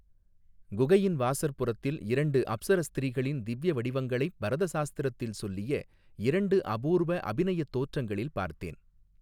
குகையின் வாசற்புறத்தில் இரண்டு அப்ஸர ஸ்திரீகளின் திவ்ய வடிவங்களைப் பரத சாஸ்திரத்தில் சொல்லிய இரண்டு அபூர்வ அபிநயத் தோற்றங்களில் பார்த்தேன்.